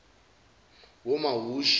wamomushi